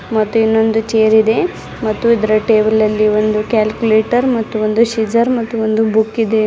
ಮತ್ತೆ ಇನ್ನೊಂದು ಚೇರ್ ಇದೆ ಮತ್ತು ಇದರ ಟೇಬಲ್ ಅಲ್ಲಿ ಒಂದು ಕ್ಯಾಲ್ಕುಲೇಟರ್ ಮತ್ತು ಒಂದು ಸೀಸರ್ ಮತ್ತೊಂದು ಬುಕ್ ಇದೆ.